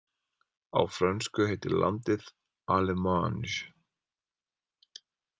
Á frönsku heitir landið Allemagne.